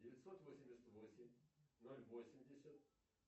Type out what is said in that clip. девятьсот восемьдесят восемь ноль восемьдесят